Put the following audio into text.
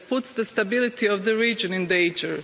It puts the stability of the region in danger.